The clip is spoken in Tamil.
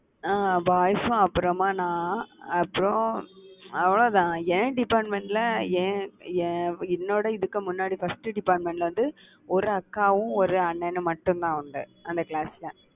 அஹ் boys அப்புறமா நான் அப்புறம் அவ்வளவுதான். என் department ல என் என் என்னோட இதுக்கு முன்னாடி first department ல வந்து, ஒரு அக்காவும், ஒரு அண்ணனும் மட்டும்தான் அவங்க. அந்த class ல